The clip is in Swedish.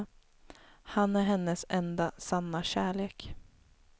Han är hennes enda sanna kärlek.